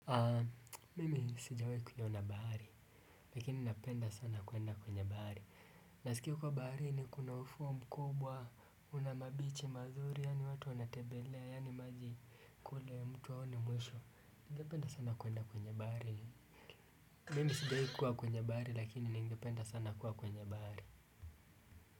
Mimi sijahi kuiona bahari lakini napenda sana kuenda kwenye bahari. Nasikia huko baharini kuna ufuo mkubwa, una mabichi mazuri, yaani watu wanatembelea, yaani maji kule mtu haoni mwisho. Ningependa sana kuenda kwenye bahari. Mimi sijawahi kuwa kwenye bahari, lakini ningependa sana kuwa kwenye bahari.